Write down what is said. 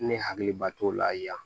Ne hakiliba t'o la yan